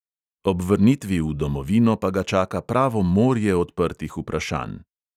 Ob vrnitvi v domovino pa ga čaka pravo morje odprtih vprašanj.